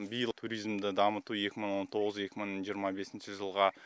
биыл туризмді дамыту екі мың он тоғыз екі мың жиырма бесінші жылға